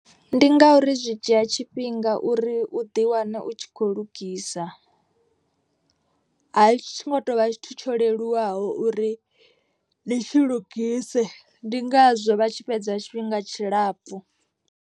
Ndi ngauri zwi dzhia tshifhinga uri u ḓi wane u tshi kho lugisa. A tshi ngo to vha tshithu tsho leluwaho uri ni tshi lugise. Ndi ngazwo vha tshi fhedza tshifhinga tshilapfu.